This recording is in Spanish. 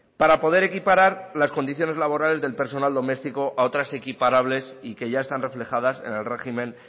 para poder equiparar las condiciones laborales del personal doméstico a otras equiparables y que ya están reflejadas en el régimen